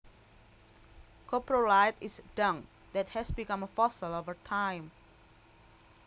Coprolite is dung that has become a fossil over time